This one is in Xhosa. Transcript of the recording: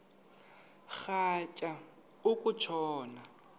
rhatya uku tshona